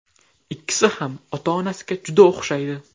Ikkisi ham ota-onasiga juda o‘xshaydi.